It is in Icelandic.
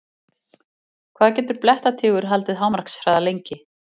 Hvað getur blettatígur haldið hámarkshraða lengi?